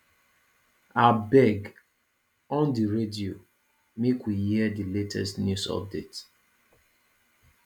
abeg on di radio make we hear di latest news update